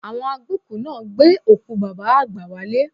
Àwọn agbókùú náà gbé òkú Bàbá àgbà wálé